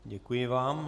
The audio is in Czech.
Děkuji vám.